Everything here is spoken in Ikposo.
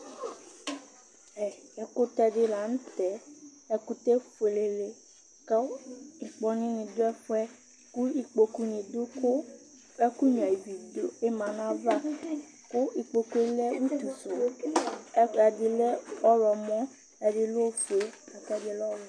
Ɛkʋtɛdi lanʋtɛ, ɛkʋtɛ efuele kʋ ŋkpɔnʋni dʋ ɛfʋ yɛ kʋ ikpokʋni dʋ kʋ ɛkʋ nyua ivi bi manʋ ayʋ ava, kʋ ikpokʋ yɛ lɛ utusʋ, ɛkʋɛdi lɛ ɔwlɔmɔ ɛdi lɛ ofue, lakʋ ɛdilɛ ɔwɛ